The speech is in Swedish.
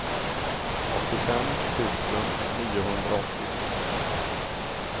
åttiofem tusen niohundraåttiotre